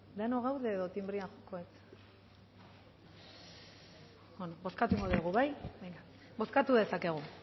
denok gaude edo tinbrea joko dut bozkatuko dugu bai bozkatu dezakegu